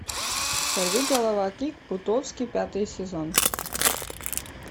сорви голова кик бутовски пятый сезон